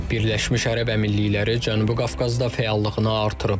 Birləşmiş Ərəb Əmirlikləri Cənubi Qafqazda fəallığını artırıb.